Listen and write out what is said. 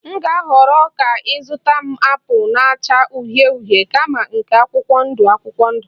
M ga-ahọrọ ka ị zụta m apụl na-acha uhie uhie kama nke akwụkwọ ndụ akwụkwọ ndụ